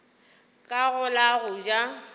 ka go la go ja